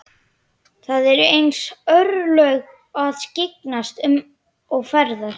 Það eru hans örlög að skyggnast um og fræðast.